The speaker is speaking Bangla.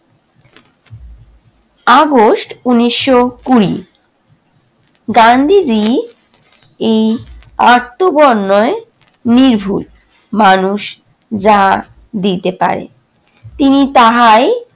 আগস্ট ঊনিশশো কুড়ি গান্ধীজি এই অট্টবড় নির্ভুল মানুষ যা দিতে পারে। তিনি তাহাই